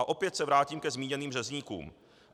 A opět se vrátím ke zmíněným řezníkům.